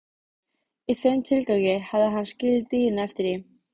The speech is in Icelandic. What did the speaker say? Í þeim tilgangi hafði hann skilið dýrin eftir í